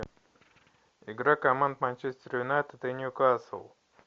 игра команд манчестер юнайтед и ньюкасл